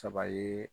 Saba ye